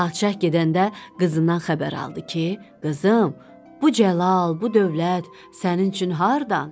Padşah gedəndə qızından xəbər aldı ki, qızım, bu cəlal, bu dövlət sənin üçün hardan?